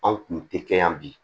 Anw kun tɛ kɛ yan bi